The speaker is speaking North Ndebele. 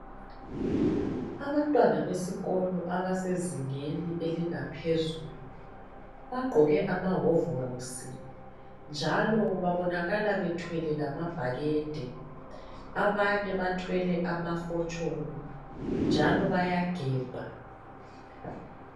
Abantwana besikolo abasezingeni eliphezulu bagqoke amahovolosi njalo babonakala bethwele lamabhakede. Abanye bathwele amafosholo njalo bayagebha.